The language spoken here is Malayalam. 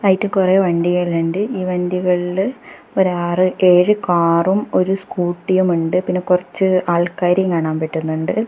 കുറെ വണ്ടികളുണ്ട് ഈ വണ്ടികളിൽ ഒര് ആറ് ഏഴ് കാറും ഒരു സ്കൂട്ടിയുമുണ്ട് പിന്നെ കൊറച്ചു ആൾക്കാരെയും കാണാൻ പറ്റുന്നുണ്ട്.